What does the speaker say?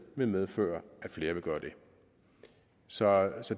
vil medføre at flere vil gøre det så